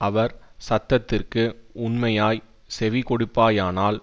அவர் சத்தத்திற்கு உண்மையாய்ச் செவி கொடுப்பாயானால்